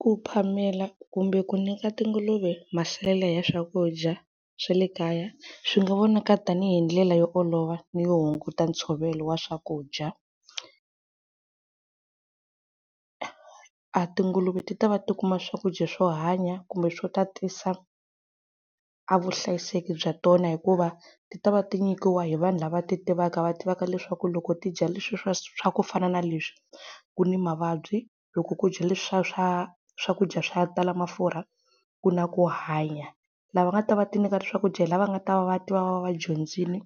Ku phamela kumbe ku nyika tinguluve masalela ya swakudya swa le kaya, swi nga vona ka tanihi ndlela yo olova ni yo hunguta ntshovelo wa swakudya. A tinguluve ti ta va ti kuma swakudya swo hanya kumbe swo tatisa a vuhlayiseki bya tona hikuva, ti ta va ti nyikiwa hi vanhu lava ti tivaka va tivaka leswaku loko ti dya leswi swa ku fana na leswi, ku ni mavabyi. Loko ku dya leswa swa swakudya swa ku tala mafurha ku na ku hanya. Lava nga ta va va ti nyika swakudya hi lava va nga ta va va tiva, va va va dyondzile